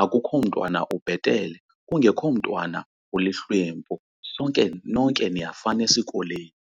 Akukho mntwana ubhetele kungekho mntwana ulihlwempu, sonke, nonke niyafana esikolweni.